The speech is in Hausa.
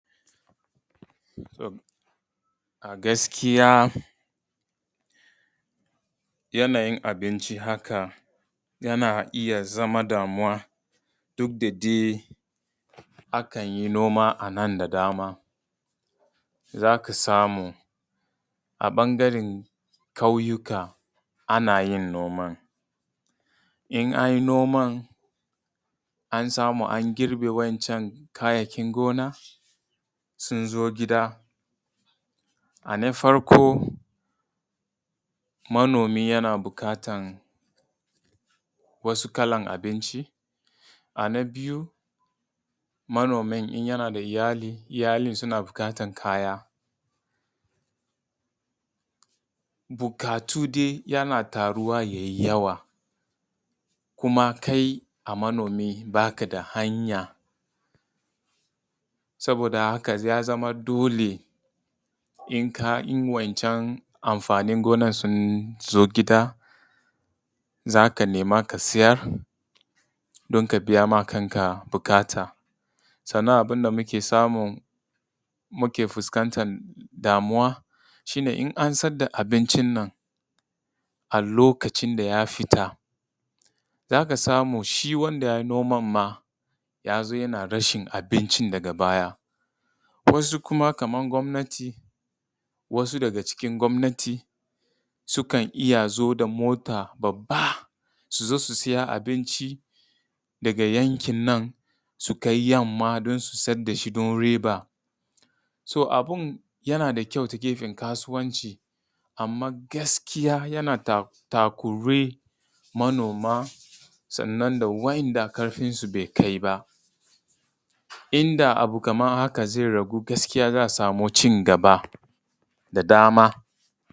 A gaskiya yanayin abinci haka yana iya zama damuwa duk da dai akan yi noma a nan da dama, za ka samu a ɓangaren ƙauyuka ana yin noman. In an yi noman, an samu an girbe wa’incan kayayyakin gona, sun zo gida. Ana farko manomi yana buƙatan wasu kalan abinci. A na biyu in manomi yana da iyali, iyali suna buƙatar kaya. Buƙatu dai yana taruwa yai yawa kuma kai a manomi ba ka da hanya, saboda haka ya zama dole in wa’incan amfanin gonan sun zo gida, za ka nema ka siyar don ka biya ma kanka buƙata. Sannan abund a muke samu, muke fuskantar damuwa shi ne in an saida da abincin nan a lokacin da ya fita, za ka samu shi wanda yai noman ma ya zo yana rashin abincin daga baya. Wasu kuma kaman gwamnati, wasu daga cikin gwamnati sukan iya zo da mota babba, su zo su siya abinci daga yankin nan su kai yamma don su sayar da shi don riba. To abun yana da kyau to gefen kasuwanci, amman gaskiya yana takuri manoma, sannan wa’inda ƙarfin su bai kai ba. Inda abu kaman haka zai ragu gaskiya za a samu cigaba da dama.